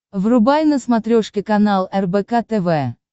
врубай на смотрешке канал рбк тв